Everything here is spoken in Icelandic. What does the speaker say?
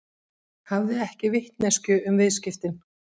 Hafði ekki vitneskju um viðskiptin